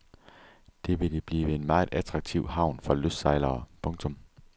Det ville blive en meget attraktiv havn for lystsejlere. punktum